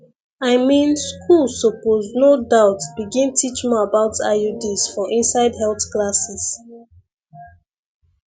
i mean school suppose no doubt begin teach more about iuds for inside health classes